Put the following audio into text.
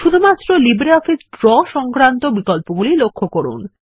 শুধুমাত্র LibreOffice Draw সংক্রান্ত বিকল্পগুলি লক্ষ্য করুন